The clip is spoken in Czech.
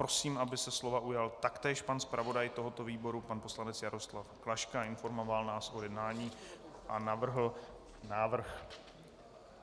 Prosím, aby se slova ujal taktéž pan zpravodaj tohoto výboru pan poslanec Jaroslav Klaška a informoval nás o jednání a